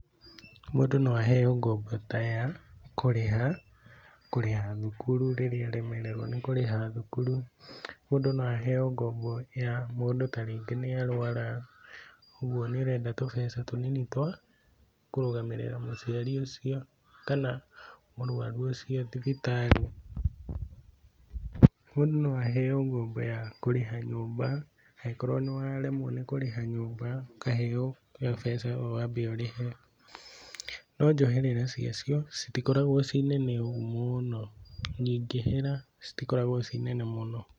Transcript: Mũndũ no aheo ngombo ta ya kũrĩha, kũrĩha thukuru rĩrĩa aremererwo nĩ kũrĩha thukuru, mũndũ no aheo ngombo ya mũndũ ta rĩngĩ nĩ arwara ũguo nĩ ũrenda tũbeca tũnini twa kũrũgamĩrĩra mũciari ũcio kana mũrwaru ũcio thibitarĩ, mũndũ no aheo ngombo ya kũrĩha nyũmba angĩkorwo nĩ wa remwo nĩ kũrĩha nyũmba ũkae mbeca wambe ũrĩhe, no njoherera cia cio itikoragwo ciĩnene ũguo mũno, nyingĩhĩra citikoragwo ciĩ nyingĩ ũguo mũno.